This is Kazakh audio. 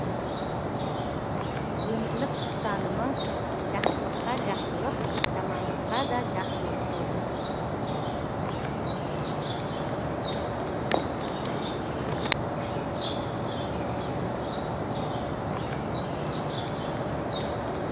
өмірлік ұстанымы жақсылыққа жақсылық жамандыққа да жақсылық болды